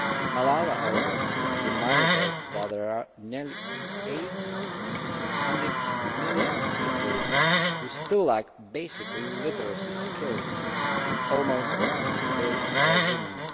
Malala also reminded us that there are nearly 800 million people who still lack basic literacy skills, and almost two thirds are women.